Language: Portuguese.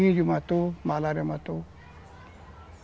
matou, malária matou.